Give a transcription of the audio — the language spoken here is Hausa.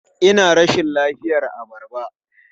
Ina rashin lafiyar abarba.